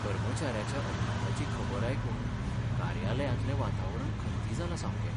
कर्मचाऱ्याच्या अपघाताची खबर आयकून कार्यालयांतलें वातावरण खंती जालां सामकें.